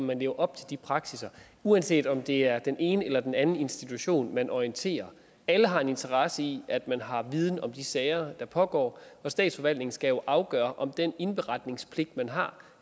man lever op til de praksisser uanset om det er den ene eller den anden institution man orienterer alle har en interesse i at man har viden om de sager der pågår statsforvaltningen skal jo afgøre om den indberetningspligt man har